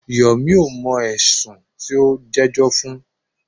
Yomi ò mọ̀ ẹ̀sùn tí o ń jẹ́jọ́ fún.